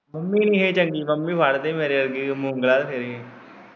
Mummy ਤੇਰੀ ਚੰਗੀ mummy ਵੱਢ ਦੇ ਮੇਰੇ ਵਰਗੀ ਮੂੰਗਲਾਂ ਵੀ ਫੇਰੇ।